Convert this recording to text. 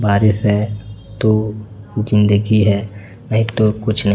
बारिश है तो जिंदगी है नहीं तो कुछ न --